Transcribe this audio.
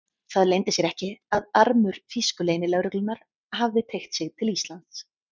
Það leyndi sér ekki, að armur þýsku leynilögreglunnar hafði teygt sig til Íslands.